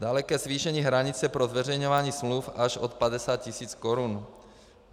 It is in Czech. Dále ke zvýšení hranice pro zveřejňování smluv až od 50 000 korun.